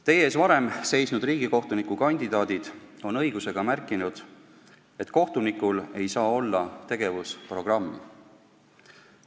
Teie ees varem seisnud riigikohtunikukandidaadid on õigusega märkinud, et kohtunikul ei saa olla tegevusprogrammi.